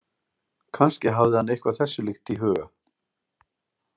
Kannski hafði hann eitthvað þessu líkt í huga.